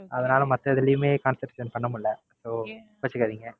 அதுனால மத்த எதுலயுமே Concentration பண்ண முடியல. So கோச்சுக்காதீங்க.